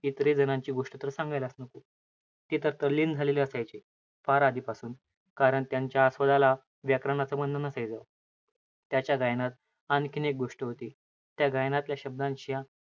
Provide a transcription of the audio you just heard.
इतर जणांची गोष्ट तर सांगायलाच नको. ते तर तल्लीन झालेले असायचे. फार आधीपासून. कारण त्यांच्या, आस्वादाला व्याकरणाचा गंध नसायचा. त्याच्या गायनात आणखीन एक गोष्ट होती. गायनातल्या शब्दांच्या,